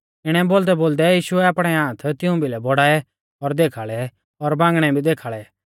इणै बोलदैबोलदै यीशुऐ आपणै हाथ तिऊं भिलै बौड़ाऐ और देखाल़ै और बांगणै भी देखाल़ै